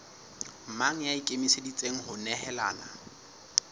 mang ya ikemiseditseng ho nehelana